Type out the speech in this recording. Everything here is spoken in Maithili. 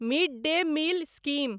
mid day meal scheme